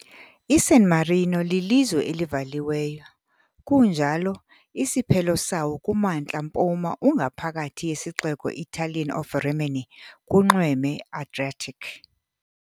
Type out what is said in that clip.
ISan Marino lilizwe elivaliweyo kunjalo, isiphelo sawo kumantla-mpuma ungaphakathi yesixeko Italian of Rimini kunxweme Adriatic.